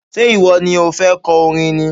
Ṣé ìwọ ni o fẹ́ kọ orin ni?